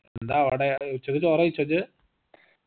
എന്താ അവിടെ ഏർ ഉച്ചക്ക് ചോറയിച്ചോ ഇജ്